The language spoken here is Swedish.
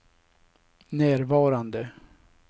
närvarande